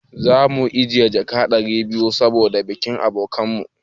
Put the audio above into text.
Za mu ajiye jaka ɗari biyu saboda bikin abokin mu.